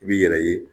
I b'i yɛrɛ ye